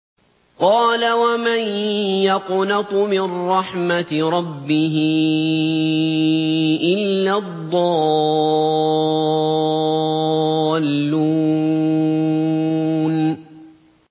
قَالَ وَمَن يَقْنَطُ مِن رَّحْمَةِ رَبِّهِ إِلَّا الضَّالُّونَ